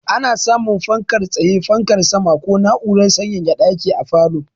Ana samun fankar tsaye, fankar sama ko na'urar sanyaya ɗaki a falo.